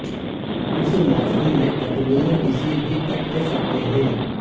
اس موسم میں پتلون کسی بھی کٹ ہو سکتے ہیں